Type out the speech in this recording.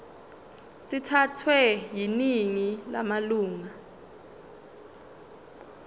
sithathwe yiningi lamalunga